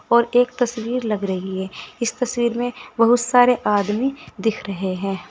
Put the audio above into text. और एक तस्वीर लग रही है इस तस्वीर में बहुत सारे आदमी दिख रहे हैं।